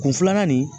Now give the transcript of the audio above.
Kun filanan nin